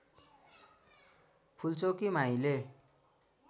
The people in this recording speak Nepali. फूलचोकी माईले